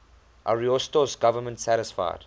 ariosto's government satisfied